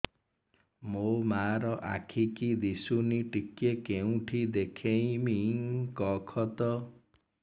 ମୋ ମା ର ଆଖି କି ଦିସୁନି ଟିକେ କେଉଁଠି ଦେଖେଇମି କଖତ